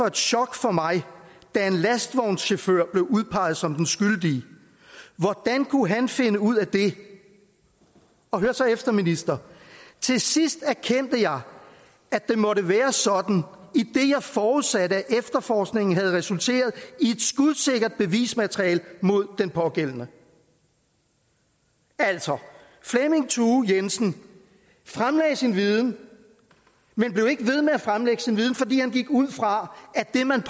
et chok for mig da en lastvognschauffør blev udpeget som den skyldige hvordan kunne han finde ud af det og hør så efter minister til sidst erkendte jeg at det måtte være sådan idet jeg forudsatte at efterforskningen havde resulteret i et skudsikkert bevismateriale mod den pågældende altså flemming thue jensen fremlagde sin viden men blev ikke ved med at fremlægge sin viden fordi han gik ud fra at det man